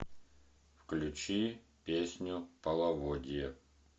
включи песню половодье